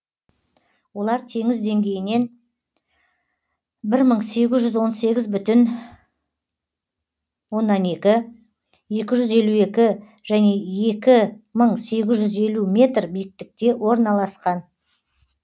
олар теңіз деңгейінен бір мың сегіз жүз он сегіз бүтін оннан екі екі жүз елу екі және екі мың сегіз жүз елу метр биіктікте орналасқан